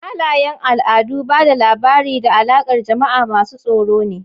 Halayen al'adu, ba da labari, da alaƙar jama'a masu tsaro ne.